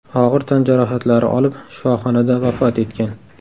og‘ir tan jarohatlari olib shifoxonada vafot etgan .